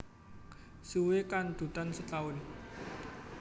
Suwé kandhutan setaun